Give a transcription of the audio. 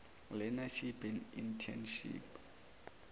learneship and internship